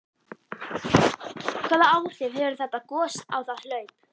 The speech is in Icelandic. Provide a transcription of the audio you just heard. Hvaða áhrif hefur þetta gos á það hlaup?